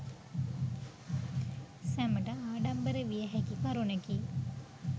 සැමට ආඩම්බර විය හැකි කරුණකි